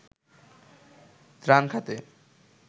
ত্রাণ খাতে